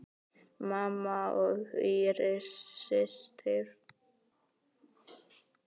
Mamma og Íris systir.